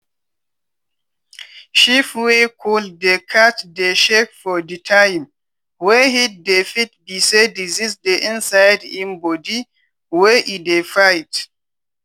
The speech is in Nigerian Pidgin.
sheep wey cold dey catch dey shake for di time wey heat dey fit be say disease dey inside im body wey e dey fight.